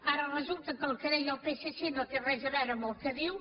ara resulta que el que deia el psc no té res a veure amb el que diu